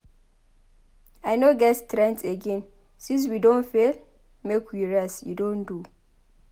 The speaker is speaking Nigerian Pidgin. I no get strength again. Since we Don fail make we rest. E don do.